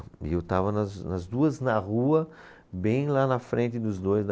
E eu estava, nas nas duas, na rua, bem lá na frente dos dois.